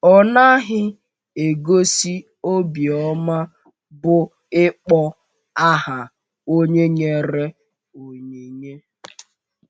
Ọ naghị egosi obiọma bụ́ ịkpọ aha onye nyere onyinye.